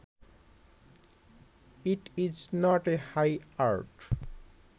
it is not a high art